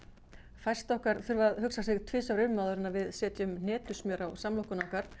fæst okkar þurfa að hugsa sig tvisvar um áður en við setjum hnetusmjör á samlokuna okkar